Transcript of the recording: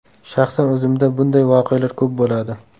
Shaxsan o‘zimda bunday voqealar ko‘p bo‘ladi.